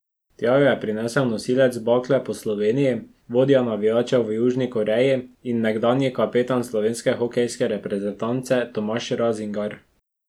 Tja jo je prinsel nosilec bakle po Sloveniji, vodja navijačev v Južni Koreji in nekdanji kapetan slovenske hokejske reprezentance Tomaž Razingar.